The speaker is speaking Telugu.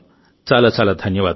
చాలా చాలా ధన్యవాదాలు